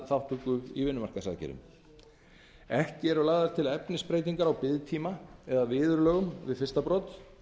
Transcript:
þátttöku í vinnumarkaðsaðgerðum ekki eru lagðar til efnisbreytingar á biðtíma eða viðurlögum við fyrsta brot